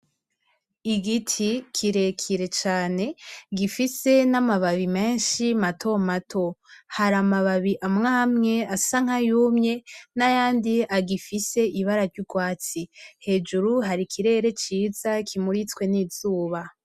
Igiti kirekire cane gifise n'amababi menshi mato mato hari amwe asa nkayumye nayandi asa nayagifise ibara ry'urwatsi hejuru hari ikirere ciza kimuritswe n'izuba.